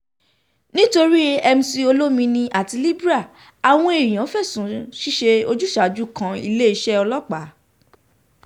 nitorí mc olomini àti libre àwọn èèyàn fẹ̀sùn ṣíṣe ojúsàájú kan iléeṣẹ́ ọlọ́pàá